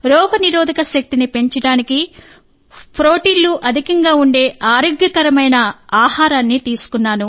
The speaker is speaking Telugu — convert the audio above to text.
రోగనిరోధక శక్తిని పెంచడానికి ప్రోటీన్లు అధికంగా ఉండే ఆరోగ్యకరమైన ఆహారాన్ని తీసుకున్నాను